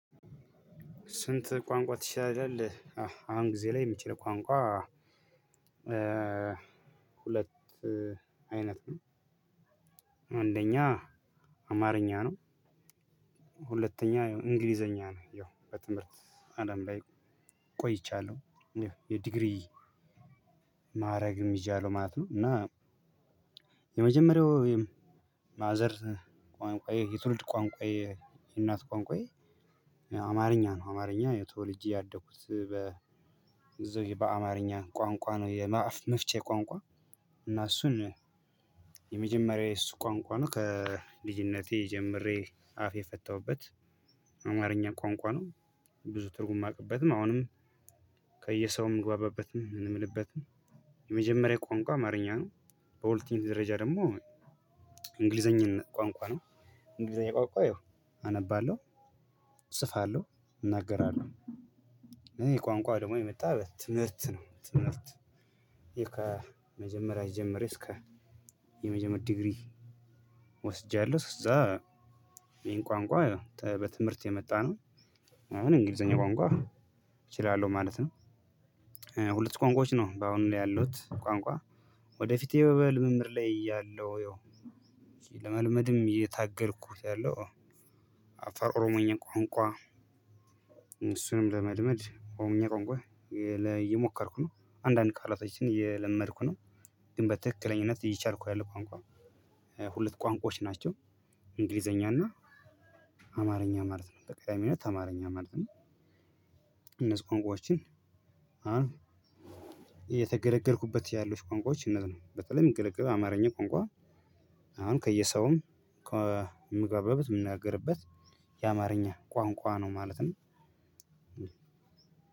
ስንት ቋንቋ ትችላለህ? አሁን ጊዜ ላይ የምችለው ቋንቋ ሁለት አይነት ነው። አንደኛ አማርኛ ነው፤ ሁለተኛ እንግሊዘኛ ነው ያው በትምህርት አለም ላይ ቆይቻለሁ የዲግሪ ማረግም ይዣለው ማለት ነው እና የመጀመሪያው ማዘር ቋንቋዬ፤ የትውልድ ቋንቋዬ፤ የእናት ቋንቋዬ አማርኛ ነው አማርኛ ተወልጄ ያደኩት በአማርኛ ቋንቋ ነው የአፍ መፍቼ ቋንቋ እና እሱን የመጀመሪያዬ እሱ ቋንቋ ነው ከልጅነቴ ጀምሬ አፍ የፈታሁበት አማርኛ ቋንቋ ነው። ብዙ ትርጉም ማውቅበትም አሁንም ከየሰውም ምግባባበትም ምውልበትም የመጀመሪያ ቋንቋ አማርኛ ነው፤ በሁለተኛ ደረጃ ደግሞ እንግሊዘኛን ቋንቋ ነው እንግሊዘኛ ቋንቋ ያው አነባለሁ፣ እጽፋለሁ፣ እናገራለሁ እሄ ቋንቋ ደግሞ የመጣ በትምህርት ነው ትምህርት ይሄ ከመጀመሪያ ጀምረ እስከ የመጀመሪያ ዲግሪ ወስጃለሁ እዛ ይሄን ቋንቋ በትምህርት የመጣ ነው፤ አሁን እንግሊዘኛ ቋንቋ እችላለሁ ማለት ነው ሁለት ቋንቋዎች ነው በአሁኑ ላይ ያሉት ቋንቋ። ወደፊት በምርምር ላይ ያለው፤ ለመልመድም እየታገልኩት ያለው አፋን ኦሮሞኛ ቋንቋ እሱንም ለመልመድ ኦሮምኛ ቋንቋ እየሞከርኩኝ፤ አንዳንድ ቃላቶችን እየለመድኩ ነው፤ ግን በትክክለኝነት እየቻልኩ ያለውት ቋንቋ ሁለት ቋንቋዎች ናቸው እንግሊዘኛ እና አማርኛ ማለት ነው። በቀዳሚነት አማርኛ ማለት ነው እነዚህ ቋንቋዎችን አሁን እየተገለገልኩበት ያለውት ቋንቋዎች እነዚህ ናችው። በተለይም ምግለገለው አማርኛ ቋንቋ አሁን ከየሰውም ከምገባበት የምናገርበት የአማርኛ ቋንቋ ነው ማለት ነው